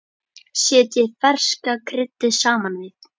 Setjið ferska kryddið saman við.